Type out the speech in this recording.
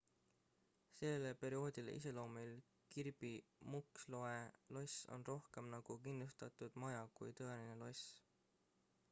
sellele perioodile iseloomulik kirby muxloe loss on rohkem nagu kindlustatud maja kui tõeline loss